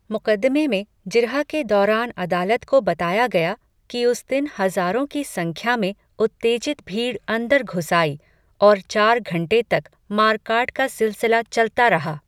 मुक़दमे में जिरह के दौरान अदालत को बताया गया, कि उस दिन हज़ारों की संख्या में उत्तेजित भीड़ अंदर घुस आई, और चार घंटे तक मार काट का सिलसिला चलता रहा.